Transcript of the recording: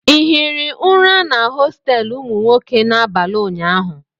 ị hiri ụra na hostelụ ụmụ nwoke n'abalị ụnyaahụ?